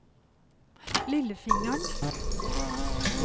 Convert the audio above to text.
lillefingeren